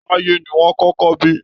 Táyé ni wọ́n kọ́kọ́ bí